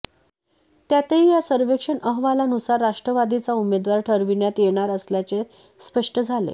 त्यातही या सर्वेक्षण अहवालानुसार राष्ट्रवादीचा उमेदवार ठरविण्यात येणार असल्याचे स्पष्ट झाले